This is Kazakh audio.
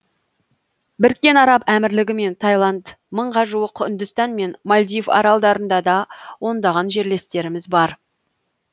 біріккен араб әмірлігі мен тайланд мыңға жуық үндістан мен мальдив аралдарында да ондаған жерлестеріміз бар